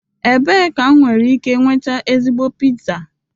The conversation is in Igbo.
Ebee ka m nwere ike nweta ezigbo pizza?